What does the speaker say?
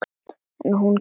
En hún kemur út.